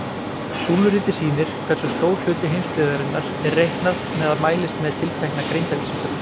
Súluritið sýnir hversu stór hluti heimsbyggðarinnar er reiknað með að mælist með tiltekna greindarvísitölu.